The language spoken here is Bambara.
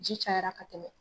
Ji cayara a ka tɛmɛ